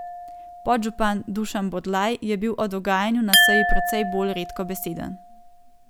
Podžupan Dušan Bodlaj je bil o dogajanju na seji precej bolj redkobeseden.